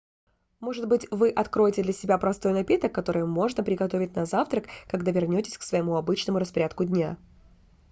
может быть вы откроете для себя простой напиток который можно приготовить на завтрак когда вернётесь к своему обычному распорядку дня